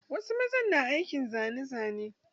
Wasu mazan na aikin zane zane.